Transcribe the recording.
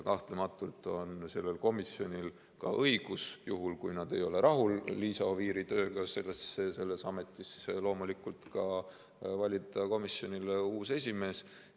Kahtlematult on sellel komisjonil ka õigus, juhul kui nad ei ole rahul Liisa Oviiri tööga selles ametis, valida komisjonile uus esimees.